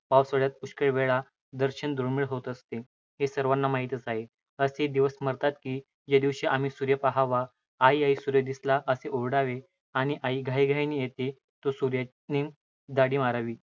पावसाळयात पुष्कळ वेळा दर्शन दुर्मिळ होत असते, हे सर्वांना माहीतच आहे. असेही दिवस स्मरतात, की ज्या दिवशी आम्ही सूर्य पहावा, आई, आई, सूर्य दिसला असे ओरडावे, आणि आई घाईघाईने येते तो सूर्याने दडी मारावी!